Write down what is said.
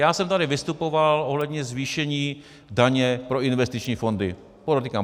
Já jsem tady vystupoval ohledně zvýšení daně pro investiční fondy.